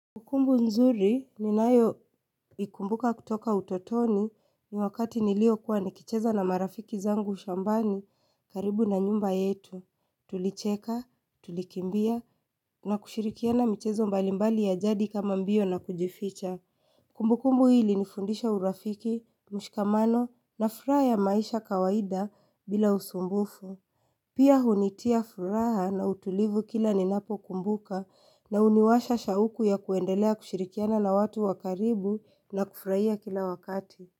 Kumbukumbu nzuri ninayoikumbuka kutoka utotoni ni wakati nilipokuwa nikicheza na marafiki zangu shambani karibu na nyumba yetu. Tulicheka, tulikimbia na kushirikiana michezo mbalimbali ya jadi kama mbio na kujificha. Kumbukumbu hii ilinifundisha urafiki, mshikamano na furaha ya maisha kawaida bila usumbufu. Pia hunitia furaha na utulivu kila ninapokumbuka na huniwasha shauku ya kuendelea kushirikiana la watu wa karibu na kufuraia kila wakati.